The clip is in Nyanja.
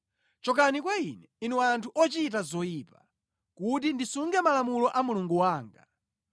Chokani kwa ine, inu anthu ochita zoyipa, kuti ndisunge malamulo a Mulungu wanga!